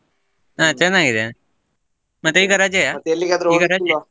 ಹಾ ಚನ್ನಾಗಿದೆನೆ, ಮತ್ತೆ ಈಗಾ ?